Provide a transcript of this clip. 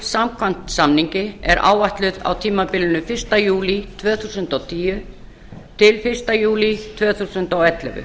samkvæmt samningi er áætluð á tímabilinu fyrsta júlí tvö þúsund og tíu til fyrsta júlí tvö þúsund og ellefu